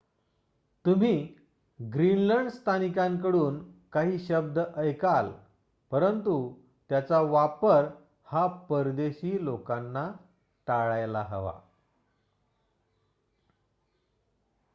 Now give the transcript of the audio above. तुम्ही ग्रीनलंड स्थानिकांकडून काही शब्द ऐकल परंतु त्याचा वापर हा परदेशी लोकांना टाळायला हवा